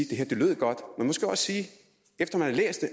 det her lød godt efter